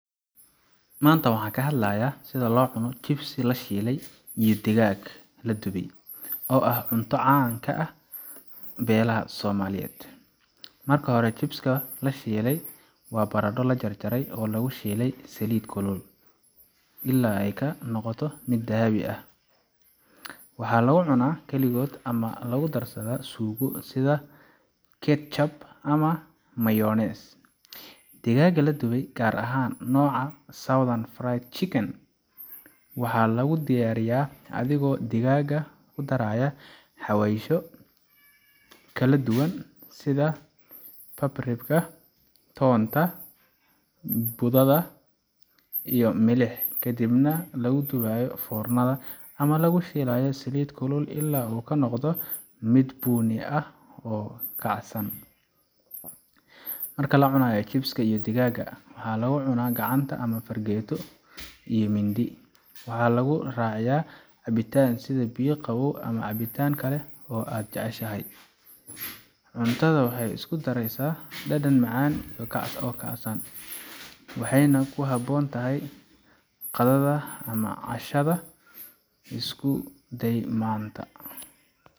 Maanta waxaan ka hadlayaa sida loo cuno chips la shiilay iyo digaag la dubay, oo ah cunto caan ah oo laga helaha meelo badan oo adduunka ah. Marka hore, chips ka la shiilay waa baradho la jarjaray oo lagu shiilay saliid kulul ilaa ay ka noqdaan dahabi ah oo kacsan. Waxaa lagu cunaa kaligood ama la socda suugo sida ketchup ama mayonnaise. Digaaga la dubay, gaar ahaan nooca Southern Fried Chicken, waxaa lagu diyaariyaa adigoo digaaga ku daraya xawaashyo kala duwan sida paprika, toonta budada ah, iyo milix, kadibna lagu dubayo foornada ama lagu shiilayo saliid kulul ilaa uu ka noqdo mid bunni ah oo kacsan. Marka la cunayo, chips ka iyo digaaga waxaa lagu cunaa gacanta ama fargeeto iyo mindi. Waxaa lagu raaciyaa cabitaan sida biyo qabow ama cabitaan kale oo aad jeceshahay. Cuntadan waxay isku daraysaa dhadhan macaan iyo kacsan, waxayna ku habboon tahay qadada ama cashada. Isku day maanta.